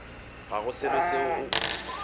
ga go selo seo o